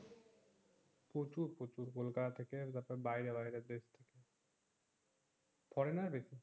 প্রচুর প্রচুর কোলকাতা থেকে বাইরে বাইরে দেশ ফরেনার বেশি